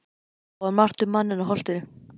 Það var margt um manninn á Holtinu.